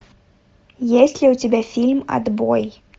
есть ли у тебя фильм отбой